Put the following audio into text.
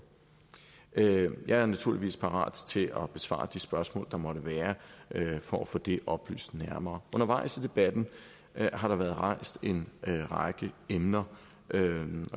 jeg er naturligvis parat til at besvare de spørgsmål der måtte være for at få det oplyst nærmere undervejs i debatten har der været rejst en række emner og jeg vil